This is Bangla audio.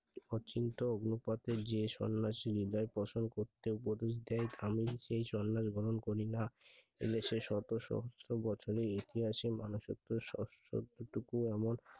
অচিন্ত্য পথে যে সন্ন্যাসী হৃদয় পছন্দ করতো তো যদি আমি সেই সন্ন্যাস গ্রহণ করিনা এই জন্য শত সহস্র বছরের ইতিহাসে মানুষের এতটুকু আমার